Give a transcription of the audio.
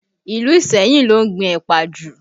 Ìlú Iseyin ló ń gbìn ẹ̀pà jù